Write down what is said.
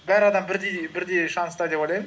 бәрі адам бірдей шанста деп ойлаймын